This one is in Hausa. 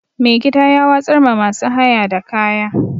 Mai gida ya watsar ma masu haya da kaya.